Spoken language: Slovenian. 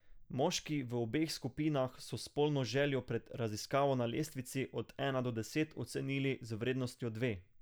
Moški v obeh skupinah so spolno željo pred raziskavo na lestvici od ena do deset ocenili z vrednostjo dve.